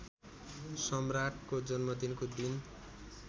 सम्राटको जन्मदिनको दिन